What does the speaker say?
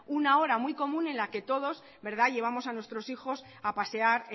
una hora muy común en la que todos verdad llevamos a nuestros hijos a pasear